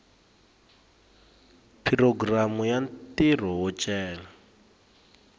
programu ya ntirho wo cela